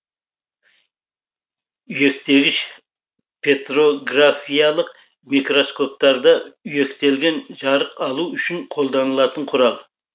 үйектегіш петрографиялық микроскоптарда үйектелген жарық алу үшін қолданылатын құрал